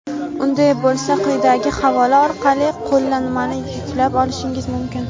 Unday bo‘lsa quyidagi havola orqali Qo‘llanmani yuklab olishingiz mumkin!.